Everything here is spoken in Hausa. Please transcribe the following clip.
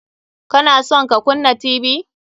Ka na son ka kunna Tv?